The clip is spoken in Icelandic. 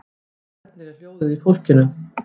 Hvernig er hljóðið í fólkinu?